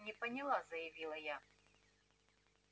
не поняла заявила я